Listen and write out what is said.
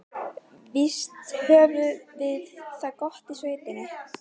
Víst höfðum við það gott í sveitinni.